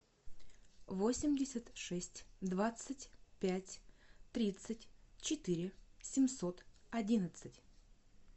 восемьдесят шесть двадцать пять тридцать четыре семьсот одиннадцать